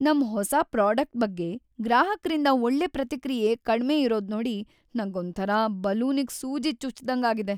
ನಮ್ ಹೊಸಾ ಪ್ರಾಡಕ್ಟ್‌ ಬಗ್ಗೆ ಗ್ರಾಹಕ್ರಿಂದ ಒಳ್ಳೆ ಪ್ರತಿಕ್ರಿಯೆ ಕಡ್ಮೆ ಇರೋದ್ನೋಡಿ ನಂಗೊಂಥರ ಬಲೂನಿಗ್‌ ಸೂಜಿ ಚುಚ್ದಂಗಾಗಿದೆ.